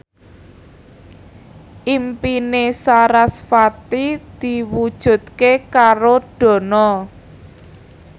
impine sarasvati diwujudke karo Dono